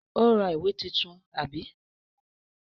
Ó ra ìwé tuntun, àbí?